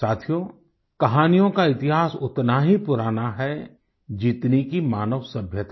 साथियो कहानियों का इतिहास उतना ही पुराना है जितनी कि मानव सभ्यता